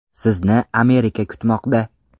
Sizni Amerika kutmoqda!